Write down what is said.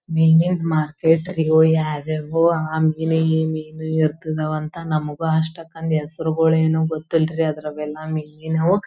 ಮೀನಿ ದ್ ಮಾರ್ಕೆಟ್ ಗೆ ಹ್ಯಾಗ್ಹ್ಯಾಗೋ ಆ ಮೀನು ಈ ಮೀನು ಇರ್ಕಿದಿವಂತ ನಮಗೂ ಅಷ್ಟಕ್ಕ ಹೆಸ್ರ್ ಗಳೇನು ಗೊತ್ತಿಲ್ಲರೀ ಅವು ಮೀನಿನವು.